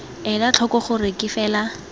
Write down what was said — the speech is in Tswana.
ela tlhoko gore ke fela